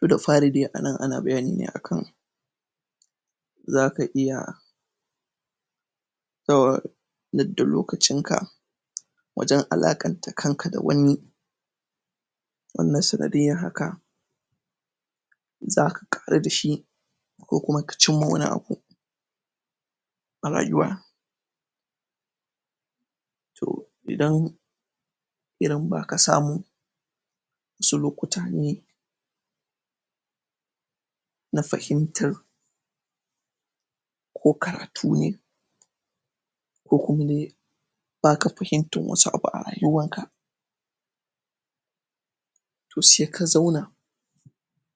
To da fari dai anan ana bayani ne akan zaka iya lokacinka wajan alaƙanta kankan da wani wanda sanadiyyan haka zaka ƙaru dashi ko kuma ka cinma wani abu a rayuwa to idan irin baka samu wasu lokuta ne na fahimtar ko karatu ne ko kuma dai baka fahimtan wasu abu a rayuwanka to se ka zauna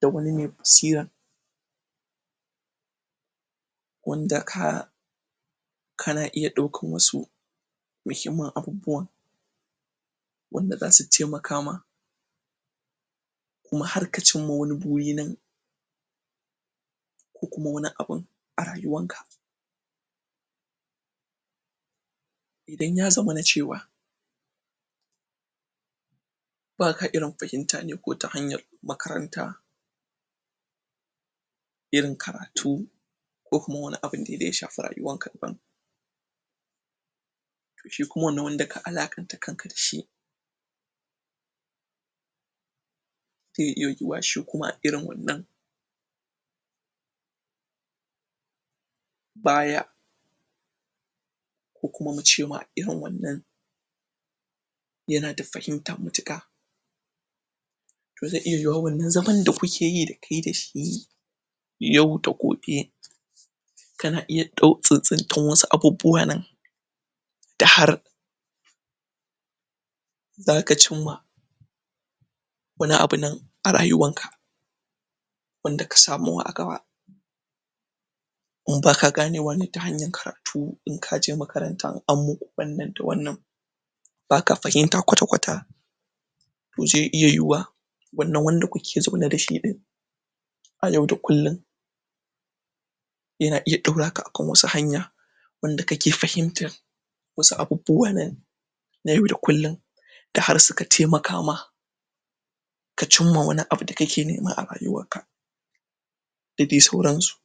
da wani me basira wanda ka kana iya ɗaukan wasu muhimmin abubuwa wanda zasu taimaka ma kuma har ka cinma wani buri nan ko kuma wani abun a rayuwanka idan ya zamana cewa baka irin fahimta ne ko ta hanyar makaranta irin karatu ko kuma wani abun dai da ya shafi rayuwanka daban to shi kuma wannan wanda ka alaƙanta kanka dashi zai iya yuwuwa shi kuma irin wannan baya ko kuma muce ma irin wannan yana da fahimta matuƙa to zai iya yuwuwa wannan zaman da kukeyi da kai dashi yau da gobe kana iya tsintsintan wasu abubbuwa nan da har zaka cinma wani abunan a rayuwanka wanda ka samuwa a gaba in baka ganewa ne ta hanyar karatu in kaje makaranta in anmuku wannan da wannan baka fahimta ƙwata ƙwata to zai iya yuwuwa wannan wanda kuke zaune dashi ɗin a yau da kullin yana iya ɗauraka akan wasu hanya wanda kake fahimtan wasu abububuwa na yau da kullin da har suka taimaka ma ka cinma wani abu da kake neme a rayuwarka da dai sauransu.